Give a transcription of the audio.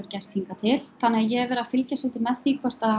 gert hingað til þannig að ég hef verið að fylgjast svolítið með því hvort að